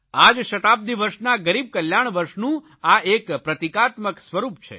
આ જ શતાબ્દી વર્ષના ગરીબ કલ્યાણ વર્ષ નું આ એક પ્રતિકાત્મક સ્વરૂપ છે